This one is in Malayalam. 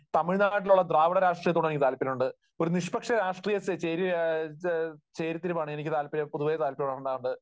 തമിഴ്നാട്ടിലുള്ള ദ്രാവിഡ രാഷ്ട്രീയത്തോട് എനിക്ക് താല്പര്യമുണ്ട്. അതുപോലെ തന്നെ ഒരു നിഷ്പക്ഷ രാഷ്ട്രീയ ചേരിതിരിവാണ് എനിക്ക് താല്പര്യം, പൊതുവെ താല്പര്യമുള്ളത്.